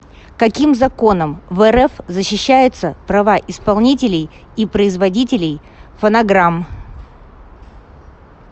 каким законом в рф защищаются права исполнителей и производителей фонограмм